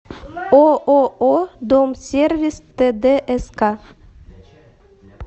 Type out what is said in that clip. ооо дом сервис тдск